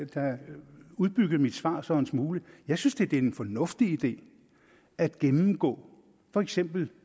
da så udbygge mit svar svar en smule jeg synes at det er en fornuftig idé at gennemgå for eksempel